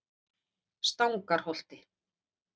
Stangarholti